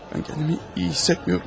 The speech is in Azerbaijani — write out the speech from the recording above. Mən kəndiimi iyi hiss etmirəm.